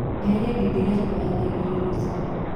eheria ngengere yakwa ya thaaĩgĩrĩ rũcĩĩnĩ